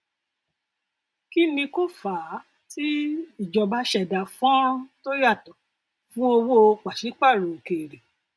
kí ni kó fàá tí ìjọba ṣẹdá fọnrán tó yàtọ fún owó pàṣípààrọ òkèèrè